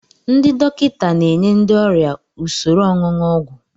Ndị dọkịta na enye ndị ọrịa usoro ọṅụṅụ ọgwụ.